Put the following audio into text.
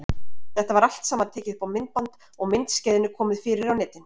Þetta var allt saman tekið upp á myndband og myndskeiðinu komið fyrir á netinu.